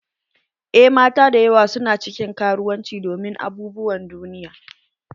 En mata dayawa su na cikin karuwanci domin abubuwan duniya.